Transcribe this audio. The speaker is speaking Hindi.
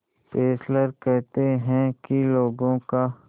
फेस्लर कहते हैं कि लोगों का